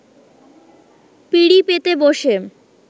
পিঁড়ি পেতে বসে